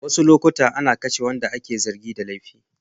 Wasu lokuta ana kashe waɗanda ake zargin da laifi.